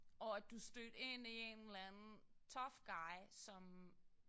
Og at du stødte ind i en eller anden tough guy som